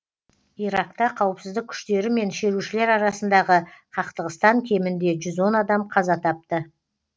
иракта қауіпсіздік күштері мен шерушілер арасындағы қақтығыстан кемінде жүз он адам қаза тапты